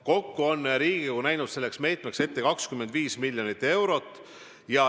Kokku on Riigikogu näinud selleks meetmeks ette 25 miljonit eurot.